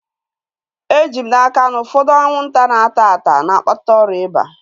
Eji m n'aka, na ụfọdụ anwụnta na-ata ata na-akpata ọrịa ịba